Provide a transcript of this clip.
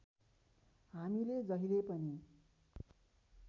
हामीले जहिले पनि